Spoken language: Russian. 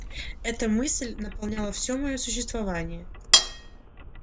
эта мысль наполняла всё моё существование